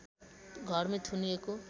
घरमै थुनिएको